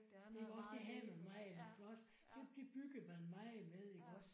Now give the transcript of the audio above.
Iggås det havde man meget iggås det det byggede man meget med iggås